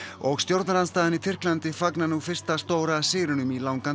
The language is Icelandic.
og stjórnarandstaðan í Tyrklandi fagnar nú fyrsta stóra sigrinum í langan